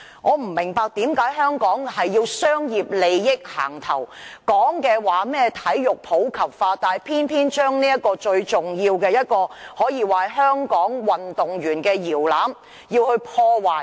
我不明白為何香港總要以商業利益行先，說甚麼體育普及化，但偏偏將最重要的一個可以說是香港運動員搖籃的運動場破壞。